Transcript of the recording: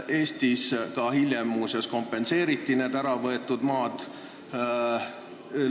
Eestis muuseas hiljem need äravõetud maad kompenseeriti.